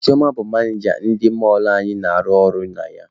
Chioma bụ manịja ndị mọlụ anyị na-arụ ọrụ na ya.